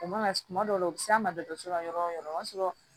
O mana suman dɔ la o bɛ s'an ma dɔgɔtɔrɔso la yɔrɔ o yɔrɔ o b'a sɔrɔ